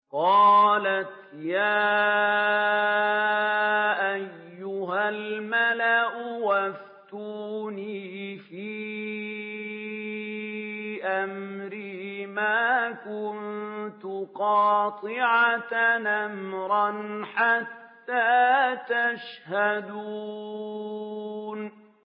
قَالَتْ يَا أَيُّهَا الْمَلَأُ أَفْتُونِي فِي أَمْرِي مَا كُنتُ قَاطِعَةً أَمْرًا حَتَّىٰ تَشْهَدُونِ